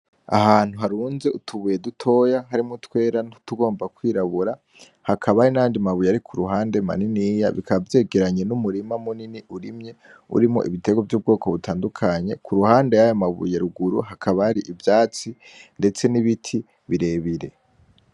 Ahantu harunze utubuye dutoya harimwo utwera n’utugomba kwirabura, hakaba hari n’ayandi mabuye maniniya , bikaba vyegeranye ni murima munini urimye urimwo ibitegwa vy’ubwoko butandukanye. Ku ruhande yayo mabuye ruguru hakaba hari ivyatsi ndetse n’ibiti birebire.